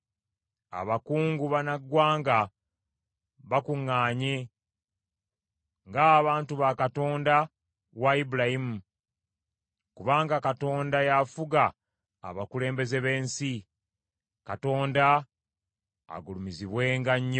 Abakungu bannaggwanga bakuŋŋanye ng’abantu ba Katonda wa Ibulayimu; kubanga Katonda y’afuga abakulembeze b’ensi. Katonda agulumizibwenga nnyo.